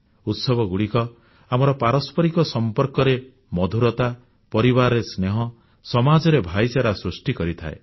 ଉତ୍ସବଗୁଡ଼ିକ ଆମର ପାରସ୍ପରିକ ସମ୍ପର୍କରେ ମଧୁରତା ପରିବାରରେ ସ୍ନେହ ସମାଜରେ ଭ୍ରାତୃତ୍ବଭାବ ସୃଷ୍ଟି କରିଥାଏ